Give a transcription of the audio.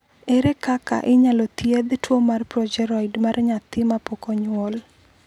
Ere kaka inyalo thiedh tuwo mar progeroid mar nyathi ma pok onyuol?